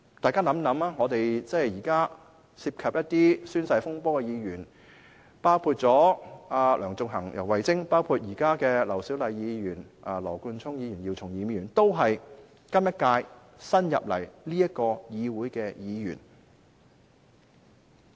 大家試想想，現時涉及宣誓風波的議員，包括先前的梁頌恆、游蕙禎，以及現在的劉小麗議員、羅冠聰議員及姚松炎議員，均是本屆新加入立法會的議員。